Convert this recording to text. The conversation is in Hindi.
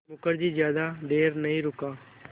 मुखर्जी ज़्यादा देर नहीं रुका